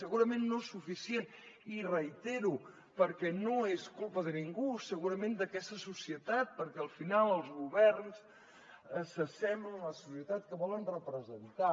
segurament no suficientment i ho reitero perquè no és culpa de ningú segurament d’aquesta societat perquè al final els governs s’assemblen a la societat que volen representar